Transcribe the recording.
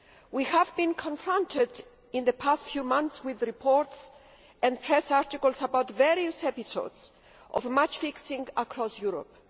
We have been confronted in the past few months with reports and press articles about various episodes of match fixing across Europe.